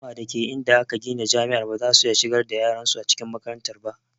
Al'umma dake inda aka gina jami'ar bazasu iya shigar da yaran su cikin makarantar ba